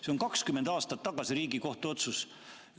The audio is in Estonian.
See on 20 aastat tagasi tehtud Riigikohtu otsus.